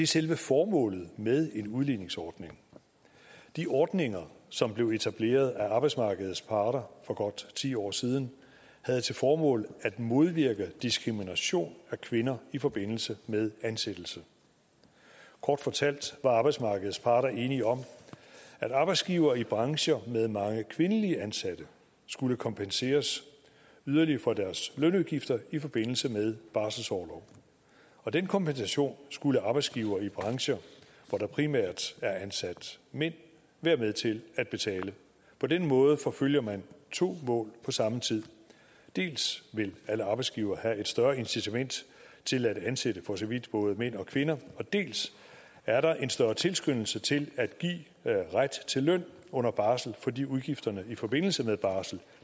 selve formålet med en udligningsordning de ordninger som blev etableret af arbejdsmarkedets parter for godt ti år siden havde til formål at modvirke diskrimination af kvinder i forbindelse med ansættelse kort fortalt var arbejdsmarkedets parter enige om at arbejdsgivere i brancher med mange kvindelige ansatte skulle kompenseres yderligere for deres lønudgifter i forbindelse med barselsorlov og den kompensation skulle arbejdsgivere i brancher hvor der primært er ansat mænd være med til at betale på den måde forfølger man to mål på samme tid dels vil alle arbejdsgivere have et større incitament til at ansætte både mænd og kvinder dels er der en større tilskyndelse til at give ret til løn under barsel fordi udgifterne i forbindelse med barsel